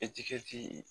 Etikɛti